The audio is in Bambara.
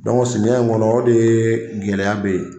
Dɔnc simiyɛ in kɔnɔ o de gɛlɛya bɛ yen